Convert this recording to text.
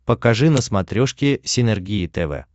покажи на смотрешке синергия тв